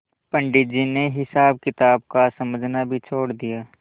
पंडित जी ने हिसाबकिताब का समझना भी छोड़ दिया